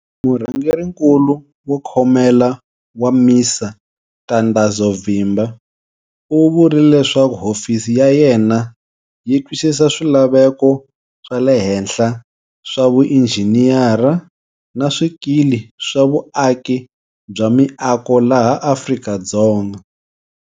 Murhangerinkulu wo Khomela wa MISA Ntandazo Vimba u vurile leswaku hofisi ya ye na yi twisisa swilaveko wa le henhla swa vuinjhiniyara na swikili swa vuaki bya miako laha Afrika-Dzonga.